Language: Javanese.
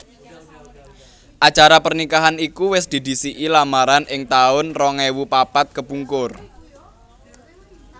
Acara pernikahan iku wis didhisiki lamaran ing taun rong ewu papat kepungkur